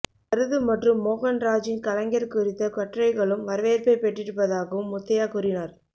மருது மற்றும் மோகன்ராஜின் கலைஞர் குறித்த கட்டுரைகளும் வரவேற்பைப் பெற்றிருப்பதாகவும் முத்தையா கூறினார்